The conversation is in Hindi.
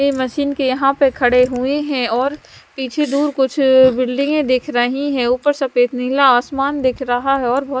ये मशीन के यहाँ पे खड़े हुए हैं और पीछे दूर कुछ बिल्डिगें दिख रही हैं ऊपर सफ़ेद नीला आसमान दिख रहा है और बहुत--